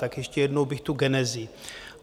Tak ještě jednou bych tu genezi.